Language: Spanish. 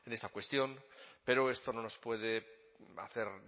cuestión pero esto no nos puede hacer